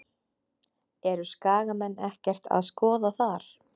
Eru Skagamenn ekkert að skoða þar?